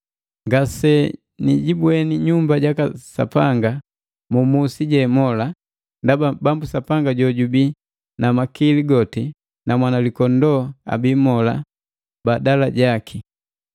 Ngase nijibweni nyumba jaka Sapanga mu musi je mola, ndaba Bambu Sapanga jo jubii na makili goti na Mwanalikondoo abii mola badala jaki.